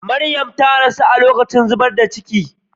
Mariya ta rasu a lokacin zubar da cikin.